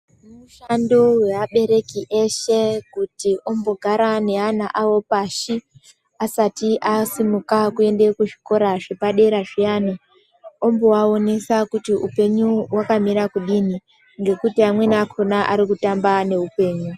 Mushando weabereki eshe kuti ombogara neana awo pashi asati asimuka kuende kuzvikora zvepadera zviyani omboaonesa kuti upenyu hwakamira kudini ngekuti amweni akona ari kutamba neupenyu.